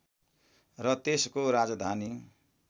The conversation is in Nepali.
र त्यसको राजधानी